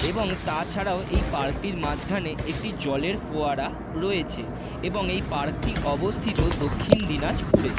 এবং তা ছাড়াও এই পার্ক টির মাঝখানে একটি জলের ফোয়ারা রয়েছে এবং এই পার্ক টি অবস্থিত দক্ষিণ দিনাজপুরে।